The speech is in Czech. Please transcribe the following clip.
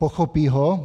Pochopí ho?